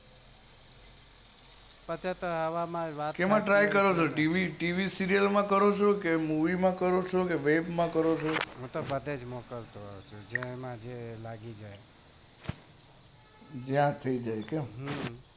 શેમાં કરો ચો tv માં કે serial, movie web માં કરો ચો હું તો બધે મોકલું છુ જ્યાં થી જાય તા